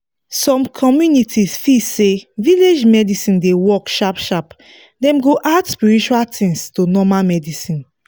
some communities feel say village medicine dey work sharp sharp dem go add spiritual things to normal medicine